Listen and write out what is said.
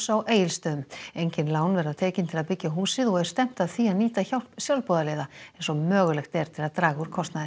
á Egilsstöðum engin lán verða tekin til að byggja húsið og er stefnt að því að nýta hjálp sjálfboðaliða eins og mögulegt er til að draga úr kostnaði